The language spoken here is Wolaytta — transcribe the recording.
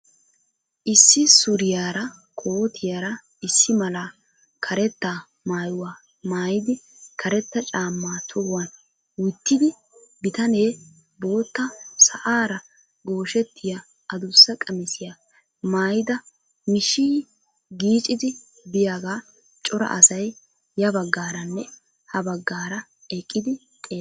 Issi suriyara kootiyara issi mala karetta maayuwa maayidi karetta caammaa tohuwan wittida bitanee bootta sa'aara gooshettiya adussa qamisiya maayida mishiyiyi giichchidi biyagaa cora asay ya baggaaranne ha baggaara eqqidi xeellees.